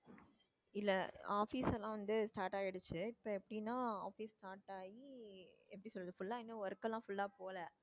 இல்ல office எல்லாம் வந்து start ஆயிடுச்சு இப்போ எப்படின்னா office start ஆயி எப்படி சொல்லுறது full அ இன்னும் work எல்லாம் full ஆ போகலை